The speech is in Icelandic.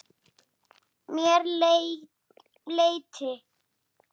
Mér létti.